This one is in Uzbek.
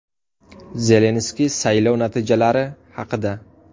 Zelenskiy saylov natijalari haqida.